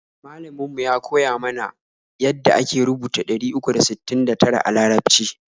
Malamin mu ya koya mana ya da ake rubuta ɗari uku da sittin da tara a larabci